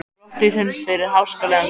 Brottvísun fyrir háskalegan leik?